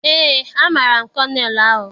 Eé, amaara m kọnel ahụ